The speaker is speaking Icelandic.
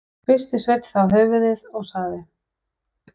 Hristi Sveinn þá höfuðið og sagði